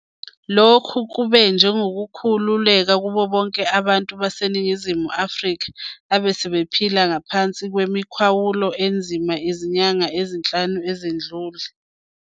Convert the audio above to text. Lokhu kube njengokukhu luleka kubobonke abantu baseNingizimu Afrika abesebephila ngaphansi kwemikhawulo enzima izinyanga eziyisihlanu ezedlule.